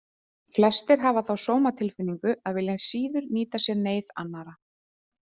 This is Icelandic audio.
Flestir hafa þá sómatilfinningu að vilja síður nýta sér neyð annarra.